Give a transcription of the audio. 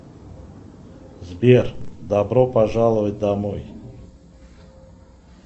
сбер добро пожаловать домой